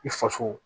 I faso